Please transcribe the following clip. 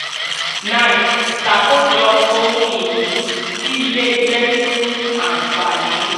nine ṣàkójọ ohun ìní tí ilé iṣẹ́ ni fún ànfàní.